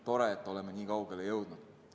Tore, et oleme nii kaugele jõudnud.